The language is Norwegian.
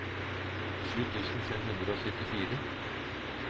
sju tusen fem hundre og syttifire